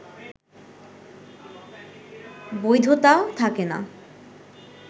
বৈধতা থাকে না